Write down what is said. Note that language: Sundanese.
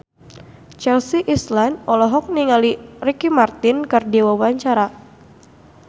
Chelsea Islan olohok ningali Ricky Martin keur diwawancara